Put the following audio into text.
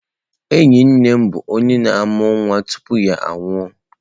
Enyi nne m bụ onye na-amụ nwa tupu ya anwụọ